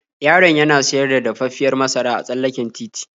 Yaron yana siyar da dafaffiyar masara a tsallaken titi.